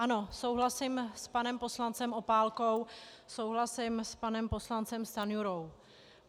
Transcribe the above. Ano, souhlasím s panem poslancem Opálkou, souhlasím s panem poslancem Stanjurou.